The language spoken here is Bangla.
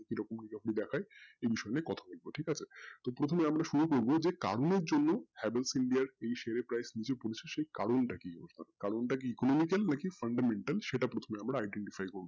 প্রথমে দেখায় দিয়ে কথা বলবো ঠিক আছে প্রথমে আমরা শুরু করবো যে কারণের জন্যে havls india এর share price টা নিচে পড়ার কারণটা কি কারণটা কি percent না percent সেটা আগে আমরা fundamental করবো